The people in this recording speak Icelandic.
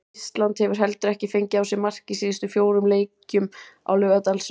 Ísland hefur heldur ekki fengið á sig mark í síðustu fjórum leikjum á Laugardalsvelli.